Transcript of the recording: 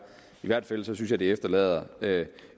i hvert fald synes jeg det efterlader